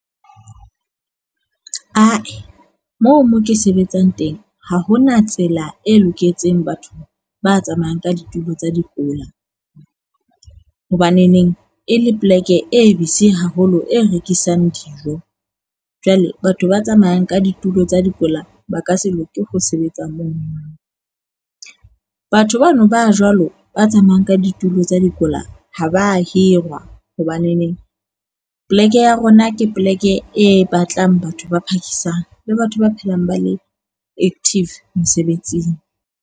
Ae, moo mo ke sebetsang teng ha hona tsela e loketseng, batho ba tsamayang ka ditulo tsa dikula . Hobaneneng e le poleke e busy haholo e rekisang dijo. Jwale batho ba tsamayang ka ditulo tsa dikola ba ka se loke ho sebetsa moo. Batho bano ba jwalo ba tsamayang ka ditulo tsa dikola ha ba hirwa hobaneneng poleke ya rona ke poleke e batlang batho ba phakisang le batho ba phelang ba le active mesebetsing.